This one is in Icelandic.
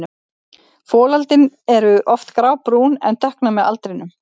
Folöldin eru oft grábrún en dökkna með aldrinum.